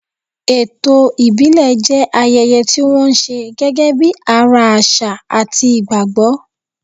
Ètò ìbílẹ̀ jẹ́ ayẹyẹ tí wọ́n ṣe gẹ́gẹ́ bí ara àṣà àti ìgbàgbọ́.